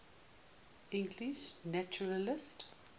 english naturalists